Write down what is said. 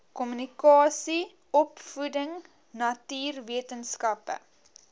kommunikasie opvoeding natuurwetenskappe